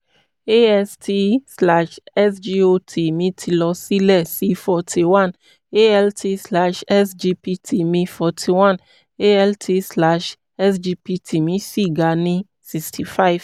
ast/sgot mi ti lọ sílẹ̀ sí forty one; alt/sgpt mi forty one; alt/sgpt mi ṣì ga ní sixty five